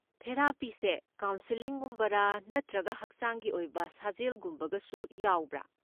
ꯊꯦꯔꯥꯄꯤꯁꯦ ꯀꯥꯎꯟꯁꯦꯂꯤꯡꯒꯨꯝꯕꯔꯥ, ꯅꯠꯇ꯭ꯔꯒ ꯍꯛꯆꯥꯡꯒꯤ ꯑꯣꯏꯕ ꯁꯥꯖꯦꯜꯒꯨꯝꯕꯒꯁꯨ ꯌꯥꯎꯕ꯭ꯔꯥ?